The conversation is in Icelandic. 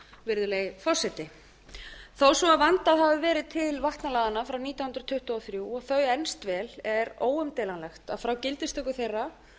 virðulegi forseti þó svo vandað hafi verið til vatnalaganna frá nítján hundruð tuttugu og þrjú og þau elst vel er óumdeilanlegt að frá gildistöku þeirra